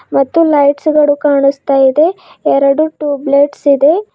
ಮತ್ತು ಲೈಟ್ಸ್ ಗಳು ಕಾಣಿಸ್ತಾ ಇದೆ ಎರಡು ಟ್ಯೂಬ್ ಲೈಟ್ಸ್ ಇದೆ.